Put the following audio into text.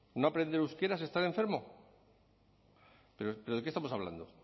no aprender euskera es estar enfermo pero de qué estamos hablando